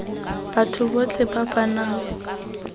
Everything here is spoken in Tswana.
batho botlhe ba ba nang